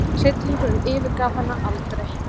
Hryllingurinn yfirgaf hana aldrei.